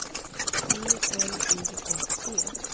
E L I S E